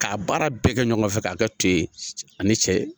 Ka baara bɛɛ kɛ ɲɔgɔn fɛ ka kɛ to ye ani cɛ.